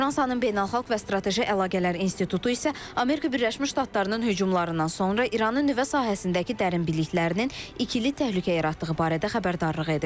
Fransanın Beynəlxalq və Strateji Əlaqələr İnstitutu isə Amerika Birləşmiş Ştatlarının hücumlarından sonra İranın nüvə sahəsindəki dərin biliklərinin ikili təhlükə yaratdığı barədə xəbərdarlıq edib.